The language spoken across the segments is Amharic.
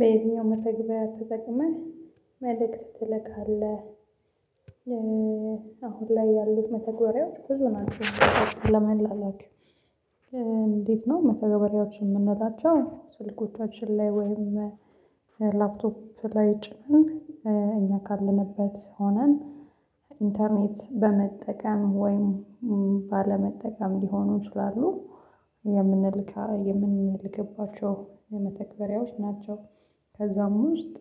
በዚህኛው መተግበር ተጠቅመህ መልእክት ትልካለህ አሁን ላይ ያሉት መተግበሪያዎች ብዙ ናቸው። ለመላላክ እንዴት ነው? መተግበሪያዎቹን የምንላቸው ስልኮቻችን ላይ ወይም ላፕቶፕ ላይ ጭምር እኛ ካለንበት ሆነን ኢንተርኔት በመጠቀም ወይም ባለመጠቀም ሊሆኑ ይችላሉ። የምንልክባቸው መተግበሪያዎች ናቸው። ከዛም ውስጥ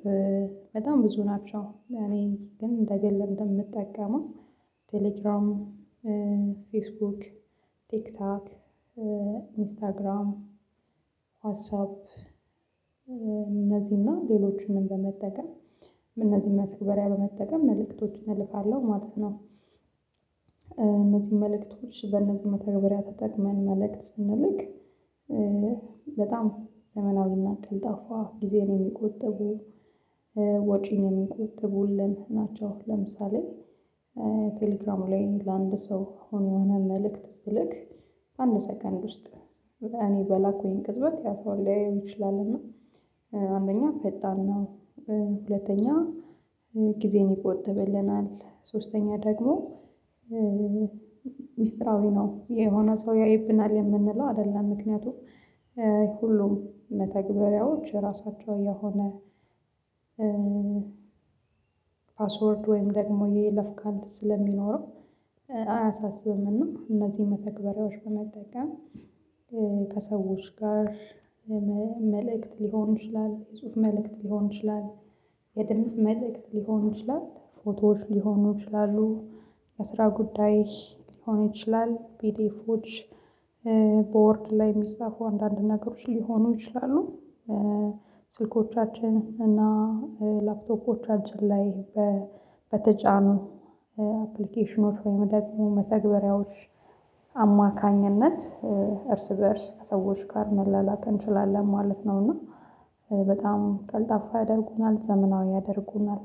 በጣም ብዙ ናቸው እኔ ግን ለግሌ የምጠቀመው ቴሌግራም ፌስቡክ ቲክቶክ ኢንስታግራም ዋትሳፕ እነዚህንና ሌሎችንም በመጠቀም እነዚህን መተግበሪያ በመጠቀም መልእክቶችን እልካለው። ማለት ነው። እነዚህን መልእክቶች በእነዚህ መተግበሪያ ተጠቅመን መልእክት ስንልክ በጣም ዘመናዊን ቀልጣፋ ጊዜን የሚቆጥቡ ወጪንግ የሚቆጥቡልን ናቸው። ለምሳሌ ቴሌግራም ላይ ለአንድ ሰው አሁን የሆነ መልእክት ብልክ በአንድ ሰከንድ ውስጥ እኔ በላኩኝ ቅጽበት ያው ሰው ሊያየው ይችላል እና አንደኛ ፈጣን ነው። ሁለተኛ ጊዜን ይቆጥብልናል። ሶስተኛ ደግሞ ሚስጥራዊ ነው የሆነ ሰው ያይብናል የምንለው አይደለም። ምክንያቱም ሁሉም መተግበሪያዎች ራሳቸው የሆነ ፓስወርድ ወይም ደግሞ የይለፍ ቃል ስለሚኖረው አያሳስብም። እና እነዚህ መተግበሪያዎች በመጠቀም ከሰዎች ጋር መልእክት ሊሆን ይችላል የጽሁፍ መልእክት ሊሆን ይችላል። የድምጽ መልእክት ሊሆን ይችላል ፎቶዎች ሊሆኑ ይችላሉ። የስራ ጉዳይ ሊሆን ይችላል ቤቴፎች ቦርድ ላይ የሚጻፉ አንዳንድ ነገሮች ሊሆኑ ይችላሉ። ስልኮቻችን እና ላፕቶፖቻችን ላይ በተጫኑ አፕሊኬሽኖች ወይም ደግሞ መተግበሪያዎች አማካኝነት እርስ በእርስ ከሰዎች ጋር መላላክ እንችላለን ማለት ነው። እና በጣም ቀልጣፋ ያደርጉናል ዘመናዊ ያደርጉናል።